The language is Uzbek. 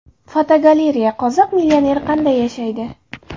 Fotogalereya: Qozoq millioneri qanday yashaydi?.